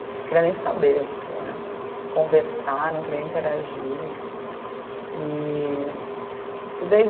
Não queria nem saber, não queria conversar, não queria interagir. E, e daí